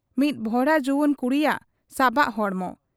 ᱢᱤᱫ ᱵᱷᱚᱨᱟ ᱡᱩᱣᱟᱹᱱ ᱠᱩᱲᱤᱭᱟᱜ ᱥᱟᱵᱟᱜ ᱦᱚᱲᱢᱚ ᱾